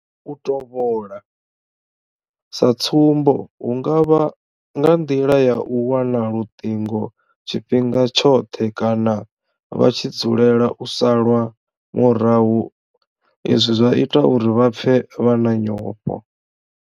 U tovhola, sa tsumbo hu nga vha nga nḓila ya u wana luṱingo tshifhinga tshoṱhe kana vha tshi dzulela u salwa murahu izwi zwa ita uri vha pfe vha na nyofho.